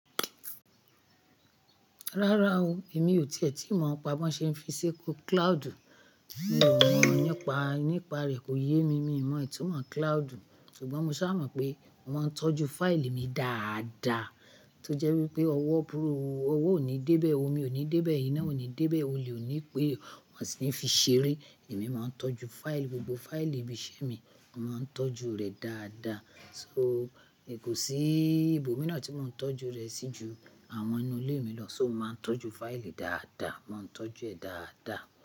Rárá o, èmi ò tìẹ́tì mọ̀ ọ́n pa bó ṣe ń fi ṣe kó cloud. Mi ò mà nípa rẹ̀ kò yé mi, mi ò mọ ìtumọ̀ cloud. Ṣùgbọ́n mo sá mọ̀ pé mo máa ń tọ́jú fáìlì mi dáadáa. Tó jẹ́ wípé ọwọ́ búrúù, ọwọ́ ò ní dé bẹ̀, omi ò ní dé bẹ̀, iná ò ní dé bẹ̀, o lè ní pé wón sì ní fi ṣeré. Èmi máa ń tọ́jú fáìlì, gbogbo fáìlì ibi iṣẹ́ mi, màá ń tọ́jú rẹ̀ dáadáa. So, ni kò sí ibòmí náà tí mò ń tọ́jú rẹ̀ sí ju àwọn inú ilé mi lọ. So mó máa ń tọ́jú fáìlì dáadáa, mò ń tọ́jú ẹ̀ dáadáa.